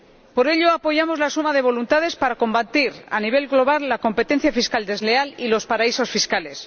Por ello, apoyamos la suma de voluntades para combatir, a nivel global, la competencia fiscal desleal y los paraísos fiscales.